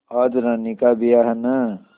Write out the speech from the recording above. आज रानी का ब्याह है न